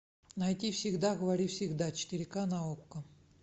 найти всегда говори всегда четыре ка на окко